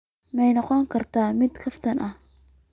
Ma noqon kartaa mid kaftan ah?